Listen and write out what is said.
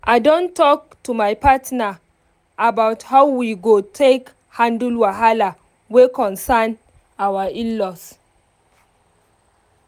i don talk to my partner about how we go take handle wahala wey concern our in-laws